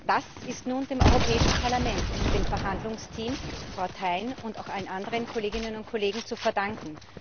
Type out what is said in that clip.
Das ist nun dem Europäischen Parlament und dem Verhandlungsteam, Frau Thein und auch allen Kolleginnen und anderen Kollegen zu verdanken.